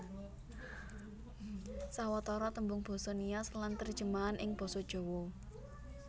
Sawetara tembung basa Nias lan terjemahan ing Basa Jawa